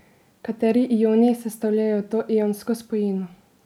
Kateri ioni sestavljajo to ionsko spojino?